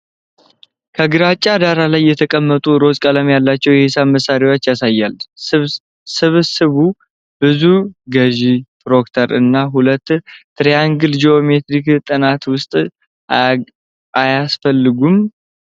ከግራጫ ዳራ ላይ የተቀመጡ ሮዝ ቀለም ያላቸው የሂሳብ መሳሪያዎችን ያሳያል፤ ስብስብ ውስጥ ገዢ፣ ፕሮትራክተር እና ሁለት ትሪያንግሎች በጂኦሜትሪክ ጥናት ውስጥ አያስፈልጉም?